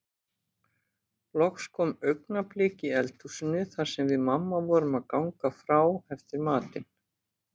Loks kom augnablik í eldhúsinu þar sem við mamma vorum að ganga frá eftir matinn.